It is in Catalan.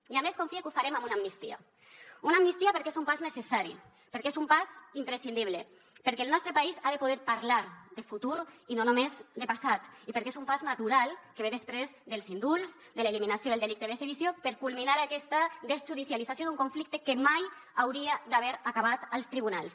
i a més confie que ho farem amb una amnistia una amnistia perquè és un pas necessari perquè és un pas imprescindible perquè el nostre país ha de poder parlar de futur i no només de passat i perquè és un pas natural que ve després dels indults de l’eliminació del delicte de sedició per culminar aquesta desjudicialització d’un conflicte que mai hauria d’haver acabat als tribunals